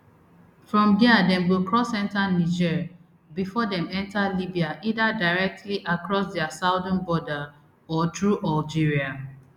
from dia dem go cross enta niger bifor dem enta libya either directly across dia southern border or through algeria